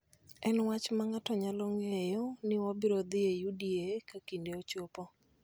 En wach ma ng�ato nyalo ng�eyo ni wabiro dhi e UDA ka kinde ochopo.